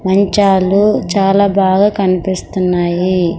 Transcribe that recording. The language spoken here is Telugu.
మంచాలు చాలా బాగా కనిపిస్తున్నాయి.